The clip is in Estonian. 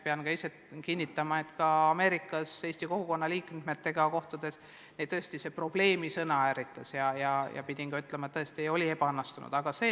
Pean tunnistama, et Ameerikas eesti kogukonna liikmetega kohtudes tõesti see "probleemi" sõna ärritas ja pidin ütlema, et see oli ebaõnnestunud lause.